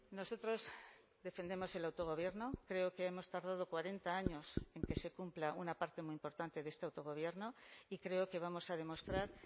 nosotros defendemos el autogobierno creo que hemos tardado cuarenta años en que se cumpla una parte muy importante de este autogobierno y creo que vamos a demostrar